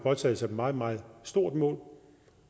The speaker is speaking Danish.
sat sig et meget meget stort mål